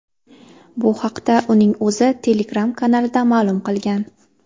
Bu haqda uning o‘zi Telegram-kanalida ma’lum qilgan.